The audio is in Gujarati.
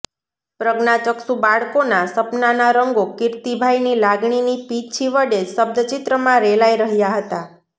પ્રજ્ઞાચક્ષુ બાળકોના સપનાના રંગો કીર્તિભાઈની લાગણીની પીંછી વડે શબ્દચિત્રમાં રેલાય રહ્યા હતા